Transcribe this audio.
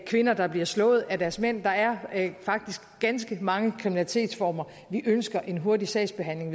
kvinder der bliver slået af deres mænd der er faktisk ganske mange kriminalitetsformer vi ønsker en hurtig sagsbehandling af